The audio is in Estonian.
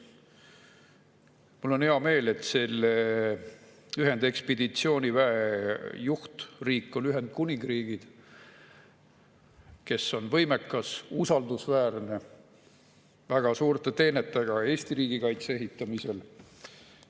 Mul on hea meel, et selle ühendekspeditsiooniväe juhtriik on Ühendkuningriik, kes on võimekas, usaldusväärne, väga suurte teenetega ka Eesti riigikaitse ehitamisel.